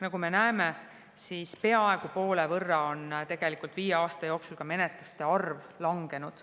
Nagu me näeme, on viie aasta jooksul peaaegu poole võrra menetluste arv langenud.